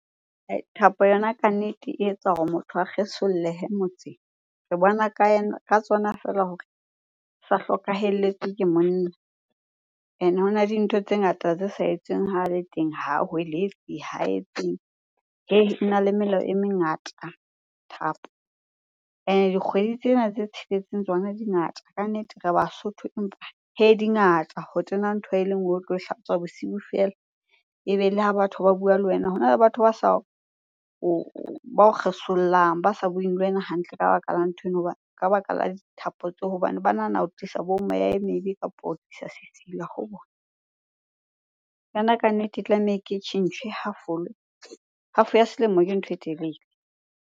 Thapo yona ka nnete e etsa hore motho a kgesollehe motseng. Re bona ka yona, ka tsona feela hore sa hlokahelletswe ke monna. Ene hona le dintho tse ngata tse sa etsweng hale teng ho hweletsa, ha etseng. Ena le melao e mengata thapo. Ene dikgwedi tsena tse tsheletseng tsona dingata ka nnete re Basotho, empa hee dingata ho tena ntho e le nngwe o tlo e hlatswa bosiu feela. Ebe le ha batho ba bua le wena, hona le batho ba sa ba o kgesollang, ba sa bueng le wena hantle ka baka la nthweno ka baka la dithapo tseo hobane ba nahana o tlisa bo meya e mebe kapo o tlisa sesila ho bona. Yona kannete e tlameha e ke tjhentjhwe, e half-olwe. Half-o ya selemo ke ntho e telele.